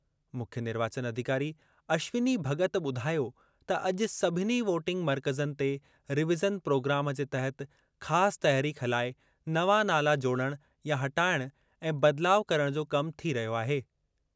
मुख्य निर्वाचन अधिकारी अश्विनी भग॒त ॿुधायो त अॼु सभिनी वोटिंग मर्कज़नि ते रिविज़न प्रोग्राम जे तहत ख़ासि तहरीक हलाए नवां नाला जोड़णु या हटाइणु ऐं बदिलाव करणु जो कम थी रहियो आहे।